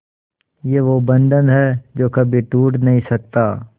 ये वो बंधन है जो कभी टूट नही सकता